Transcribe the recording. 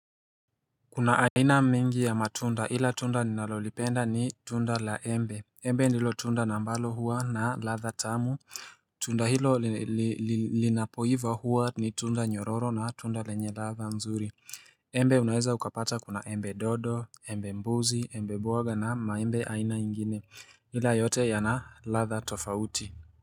Kuna aina mingi ya matunda ila tunda ninalolipenda ni tunda la embe. Embe ndilo tunda na ambalo huwa na ladha tamu Tunda hilo linapoiva huwa ni tunda nyororo na tunda lenye ladha nzuri Embe unaweza ukapata kuna embe dodo, embe mbuzi, embe bwaga na maembe aina ingine ila yote yanaladha tofauti.